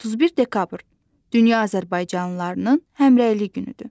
31 dekabr Dünya Azərbaycanlılarının Həmrəylik günüdür.